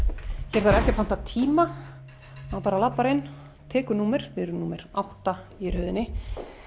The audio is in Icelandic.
hér þarf ekki að panta tíma maður bara labbar inn og tekur númer við erum númer átta í röðinni